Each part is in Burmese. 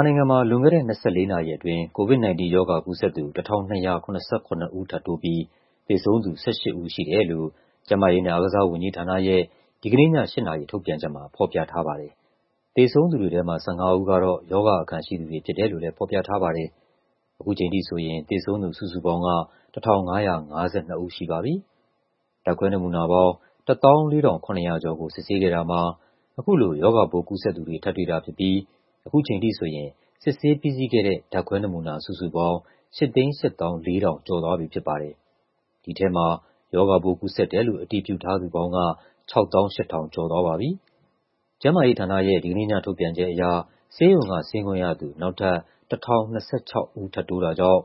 ာနိုင်ငံမှာ လွန်ခဲ့တဲ့ ၂၄ နာရီအတွင်း COVID-19 ရောဂါကူးစက်သူ ၁,၂၇၇ ဦး ထပ်တိုးပြီး သေဆုံးသူ ၁၈ ဦးရှိတယ်လို့ ကျန်းမာရေးနဲ့ အားကစားဝန်ကြီးဌာနရဲ့ ဒီကနေ့ည ၈ နာရီ ထုတ်ပြန်ချက်မှာ ဖော်ပြထားပါတယ်။ သေဆုံးသူတွေထဲမှာ ၁၅ ဦးကတော့ ရောဂါအခံရှိသူတွေ ဖြစ်တယ်လို့ ဖော်ပြထားပါတယ်။ ခုချိန်ထိဆိုရင် သေဆုံးသူစုစုပေါင်းက ၁,၅၅၂ ဦး ရှိပါပြီ။ ဓာတ်ခွဲနမူနာပေါင်း ၁၄,၇၇၇ ခုကို စစ်ဆေးခဲ့တာမှာ အခုလို ရောဂါပိုးကူးစက်သူတွေ ထပ်တွေ့တာဖြစ်ပြီး ခုချိန်ထိဆိုရင် စစ်ဆေးပြီးစီးခဲ့တဲ့ ဓာတ်ခွဲနမူနာ စုစုပေါင်း ၈၈၄,၀၀၅ ခု ရှိသွားပြီဖြစ်ပါတယ်။ ဒီထဲမှာ ရောဂါပိုးကူးစက်တယ်လို့ အတည်ပြုထားသူပေါင်းက ၆၈,၀၁၁ ဦး ရှိသွားပါပြီ။ ကျန်းမာရေးဌာနရဲ့ ဒီကနေ့ည ထုတ်ပြန်ချက်အရ ဆေးရုံက ဆင်းခွင့်ရသူ နောက်ထပ် ၁,၀၂၆ ဦး ထပ်တိုးတာကြောင့်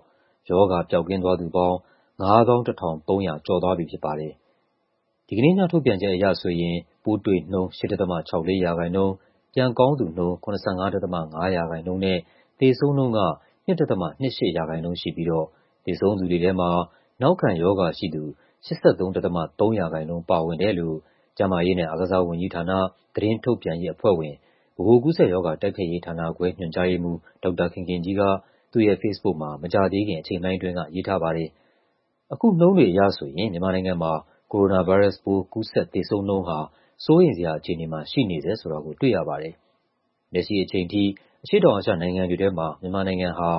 ရောဂါပျောက်ကင်းသွားသူပေါင်း ၅၁,၃၆၂ ဦး ရှိပြီဖြစ်ပါတယ်။ ဒီကနေ့ည ထုတ်ပြန်ချက်အရဆိုရင် ပိုးတွေ့နှုန်း ၈.၆၄ ရာခိုင်နှုန်း၊ ပြန်ကောင်းသူနှုန်း ၇၅.၅ ရာခိုင်နှုန်းနဲ့ သေဆုံးနှုန်းက ၂.၂၈ ရာခိုင်နှုန်း ရှိပြီးတော့ သေဆုံးသူတွေထဲမှာ နောက်ခံရောဂါရှိသူ ၈၃.၃ ရာခိုင်နှုန်း ပါဝင်တယ်လို့ ကျန်းမာရေးနဲ့ အားကစားဝန်ကြီးဌာန၊ သတင်းထုတ်ပြန်ရေးအဖွဲ့ဝင်၊ ဗဟိုကူးစက်ရောဂါ တိုက်ဖျက်ရေးဌာနခွဲ ညွှန်ကြားရေးမှူး ဒေါက်တာခင်ခင်ကြီးက သူ့ရဲ့ ဖေ့စ်ဘုတ်မှာ မကြာသေးခင် အချိန်ပိုင်းအတွင်းက ရေးထားပါတယ်။ အခုနှုန်းတွေအရဆိုရင် မြန်မာနိုင်ငံမှာ ကိုရိုနာဗိုင်းရပ်စ်ပိုး ကူးစက် သေဆုံးနှုန်းဟာ စိုးရိမ်စရာ အခြေအနေမှာ ရှိနေဆဲဆိုတာကို တွေ့ရပါတယ်။ လက်ရှိအချိန်ထိ အရှေ့တောင်အာရှနိုင်ငံတွေထဲမှာ မြန်မာနိုင်ငံဟာ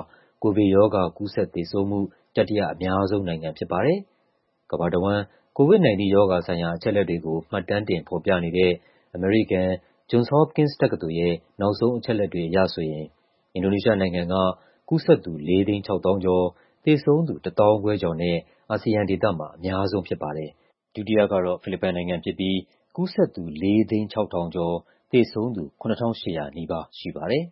ကိုဗစ်ရောဂါ ကူးစက်သေဆုံးမှု တတိယအများဆုံးနိုင်ငံ ဖြစ်ပါတယ်။ ကမ္ဘာတဝန်း COVID-19 ရောဂါဆိုင်ရာ အချက်အလက်တွေကို မှတ်တမ်းတင် ဖော်ပြနေတဲ့ အမေရိကန် Johns Hopkins တက္ကသိုလ်ရဲ့ နောက်ဆုံးအချက်အလက်တွေအရ ဆိုရင် အင်ဒိုနီးရှားနိုင်ငံက ကူးစက်သူ ၄၆၀,၀၀၀ ကျော်၊ သေဆုံးသူ ၁၅,၀၀၀ ကျော်နဲ့ အာဆီယံဒေသမှာ အများဆုံးဖြစ်ပါတယ်။ ဒုတိယကတော့ ဖိလစ်ပိုင်နိုင်ငံဖြစ်ပြီး ကူးစက်သူ ၄၀၆,၀၀၀ ကျော်၊ သေဆုံးသူ ၇,၈၀၀ နီးပါးရှိပါတယ်